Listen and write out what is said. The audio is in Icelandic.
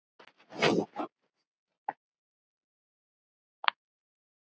Hætt við fund?